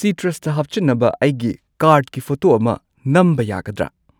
ꯁꯤꯇ꯭ꯔꯁꯇ ꯍꯥꯞꯆꯤꯟꯅꯕ ꯑꯩꯒꯤ ꯀꯥꯔꯗꯀꯤ ꯐꯣꯇꯣ ꯑꯃ ꯅꯝꯕ ꯌꯥꯒꯗ꯭ꯔꯥ?